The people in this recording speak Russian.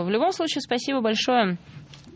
в любом случае спасибо большое